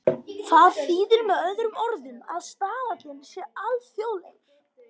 Það þýðir með öðrum orðum að staðallinn sé alþjóðlegur.